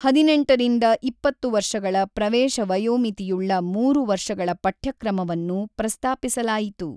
ಹದಿನೆಂಟರಿಂದ ಇಪ್ಪತ್ತು ವರ್ಷಗಳ ಪ್ರವೇಶ ವಯೋಮಿತಿಯುಳ್ಳ ಮೂರು ವರ್ಷಗಳ ಪಠ್ಯಕ್ರಮವನ್ನು ಪ್ರಸ್ತಾಪಿಸಲಾಯಿತು.